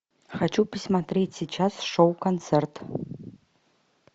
хочу посмотреть сейчас шоу концерт